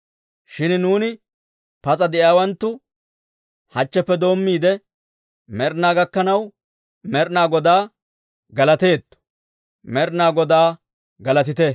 Shin nuuni, pas'a de'iyaawanttu, hachcheppe doommiide med'inaa gakkanaw Med'inaa Godaa galateetto. Med'inaa Godaa galatite!